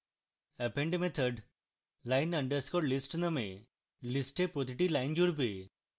append method line _ list নামক list প্রতিটি line জুড়বে